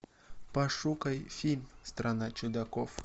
пошукай фильм страна чудаков